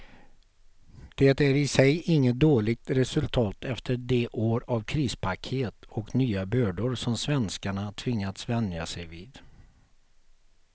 Det är i sig inget dåligt resultat efter de år av krispaket och nya bördor som svenskarna tvingats vänja sig vid.